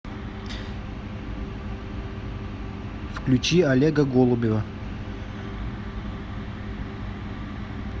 включи олега голубева